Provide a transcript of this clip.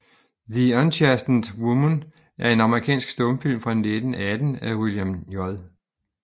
The Unchastened Woman er en amerikansk stumfilm fra 1918 af William J